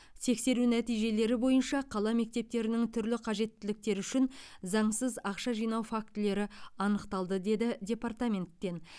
тексеру нәтижелері бойынша қала мектептерінің түрлі қажеттіліктері үшін заңсыз ақша жинау фактілері анықталды деді департаменттен